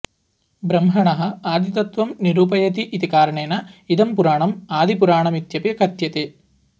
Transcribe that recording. ब्रह्मणः आदि तत्त्वं निरूपयति इति कारणेन इदं पुराणम् आदिपुराणमित्यपि कथ्यते